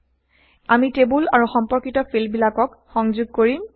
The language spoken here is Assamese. আমি টেবোল আৰু সম্পৰ্কিত ফিল্ডবিলাকক সংযোগ কৰিম